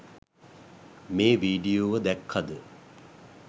මේ වීඩියෝව දැක්කද?